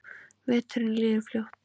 Veturinn líður fljótt.